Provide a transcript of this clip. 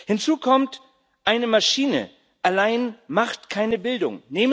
Hinzu kommt Eine Maschine allein macht keine Bildung.